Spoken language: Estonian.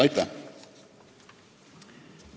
Aitäh!